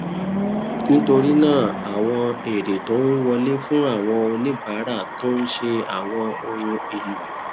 nítorí náà àwọn èrè tó ń wọlé fún àwọn oníbàárà tó ń ṣe àwọn ohun èlò